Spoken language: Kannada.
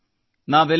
ರಾಮರಾವ್